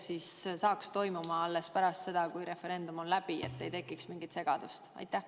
Et see saaks toimuda alles pärast seda, kui referendum on läbi, et ei tekiks mingit segadust?